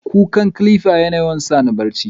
ƙukka "clipper" yana yawan sani barchi.